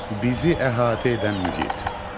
Bizi əhatə edən mühit.